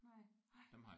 Nej nej